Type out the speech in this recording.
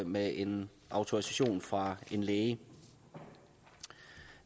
med en autorisation fra en læge